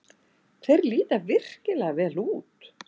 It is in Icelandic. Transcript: Þeir líta virkilega vel út.